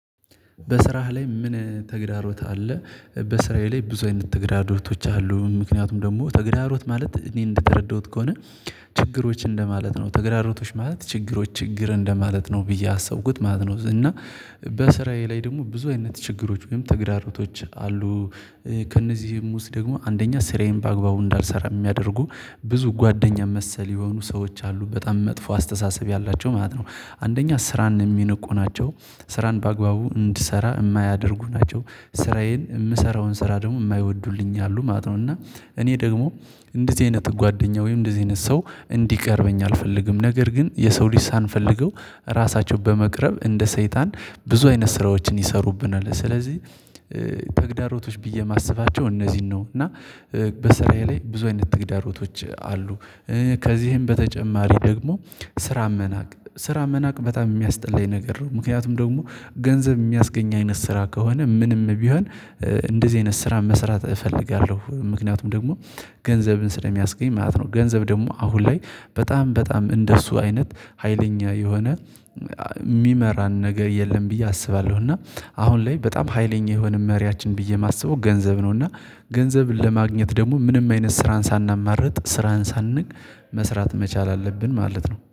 በስራህ ላይ ምን ተግዳሮት አለ? በስራዬ ላይ ብዙ አይነት ተግዳዶቶች አሉ ምክንያቱም ደግሞ ተግዳሮት ማለት እኔ እንደተረዳሁት ከሆነ ችግሮች እንደማለት ነው ተግራሮቶች ማለት ችግሮች ችግር እንደማለት ነው ብዬ አሰብኩት ማለት ነው። እና በስራዬ ላይ ደግሞ ብዙ አይነት ችግሮች ወይም ተግራርቶች አሉ። ከእነዚህም ውስጥ ደግሞ አንደኛ ስራየን በአግባቡ እንዳልሰራ የሚያደርጉ ብዙ ጓደኛ መሰል የሆኑ ሰዎች አሉ በጣም መጥፎ አስተሳሰብ ያላቸው ማለት ነው። አንደኛ ስራን የሚነቁ ናቸው። ስራን በአግባቡ እንድሰራ የማያደርጉ ናቸው። ስራዬን የምሰራውን ስራ ደግሞ የማይወዱልኝ አሉ ማለት ነው። እና እኔ ደግሞ እንደዚህ አይነት ጓደኛ ወይም እንደዚህ አይነት ሰው እንዲቀርበኝ አልፈልግም። ነገር ግን የሰው ልጅ ሳንፈልገው ራሳቸው በመቅረብ እንደ ሰይጣን ብዙ አይነት ስራዎችን ይሰሩብናል ስለዚህ ተግዳሮቶች ብዬ የማስባቸው እነዚህን ነው። እና በስራዬ ላይ ብዙ አይነት ትግዳሮቶች አሉ። ከዚህም በተጨማሪ ደግሞ ስራን መናቅ ስራ መናቅ በጣም የሚያስጠላኝ ነገር ነው። ምክንያቱም ደግሞ ገንዘብ የሚያስገኝ አይነት ስራ ከሆነ ምንም ቢሆን። እንደዚህ አይነት ስራ መስራት እፈልጋለሁ ምክንያቱም ደግሞ ገንዘብን ስለሚያስገኝ ማለት ነው። ገንዘብ ደግሞ አሁን ላይ በጣም በጣም እንደሱ አይነት ሀይለኛ የሆነ እሚመራ ነገር የለም ብዬ አስባለሁ። እና አሁን ላይ በጣም ሀይለኛ የሆነ መሪያችን ብዬ የማስበው ገንዘብ ነው። እና ገንዘብን ለማግኘት ደግሞ ምንም አይነት ስራን ሳናማርጥ ስራን ሳንንቅ መስራት መቻል አለብን ማለት ነው